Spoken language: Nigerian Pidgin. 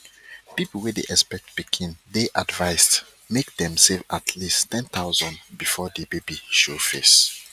people wey dey expect pikin dey advised make dem save at least 10000 before di baby show face